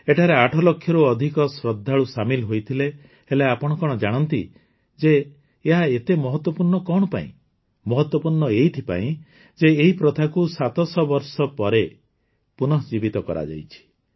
ଏଠାରେ ଆଠଲକ୍ଷରୁ ଅଧିକ ଶ୍ରଦ୍ଧାଳୁ ସାମିଲ ହୋଇଥିଲେ ହେଲେ କଣ ଆପଣ ଜାଣନ୍ତି ଯେ ଏହା ଏତେ ମହତ୍ୱପୂର୍ଣ୍ଣ କଣ ପାଇଁ ମହତ୍ୱପୂର୍ଣ୍ଣ ଏଇଥିପାଇଁ ଯେ ଏହି ପ୍ରଥାକୁ ୭୦୦ ବର୍ଷ ପରେ ପୁନଃଜୀବିତ କରାଯାଇଛି